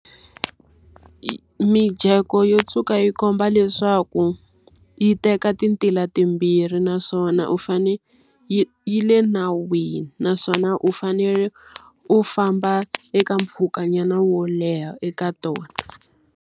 Mijeko yo tshuka yi komba leswaku, yi teka ti ntila timbirhi naswona u fanele yi yi le nawini. Naswona u fanele u famba eka mpfhukanyana wo leha eka tona.